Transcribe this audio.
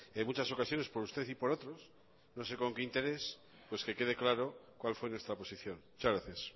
en muchas ocasiones por usted y por otros no sé con qué interés pues que quede claro cuál fue nuestra posición muchas gracias